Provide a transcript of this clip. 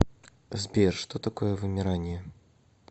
сбер что такое вымирание